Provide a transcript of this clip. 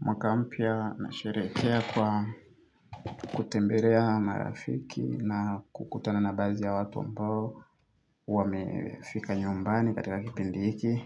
Mwaka mpya nasherehekea kwa kutembelea marafiki na kukutana na baadhi ya watu ambao wamefika nyumbani katika kipindi hiki